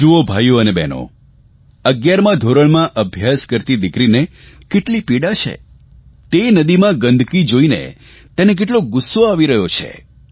જુઓ ભાઇઓ અને બહેનો 11મા ધોરણમાં અભ્યાસ કરતી દિકરીને કેટલી પીડા છે તે નદીમાં ગંદકી જોઇને તેને કેટલો ગુસ્સો આવી રહ્યો છે